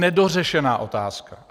Nedořešená otázka!